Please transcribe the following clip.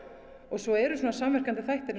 svo eru samverkandi þættir